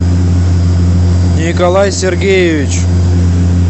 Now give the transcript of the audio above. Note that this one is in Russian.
николай сергеевич